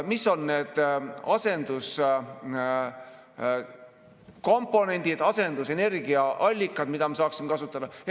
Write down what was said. Mis on need asenduskomponendid, asendusenergiaallikad, mida me saaksime kasutada?